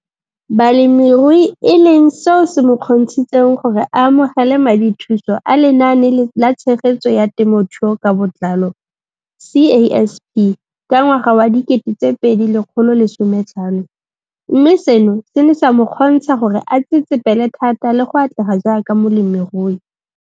Balemirui e leng seo se mo kgontshitseng gore a amogele madithuso a Lenaane la Tshegetso ya Te mothuo ka Botlalo CASP ka ngwaga wa 2015, mme seno se ne sa mo kgontsha gore a tsetsepele thata le go atlega jaaka molemirui.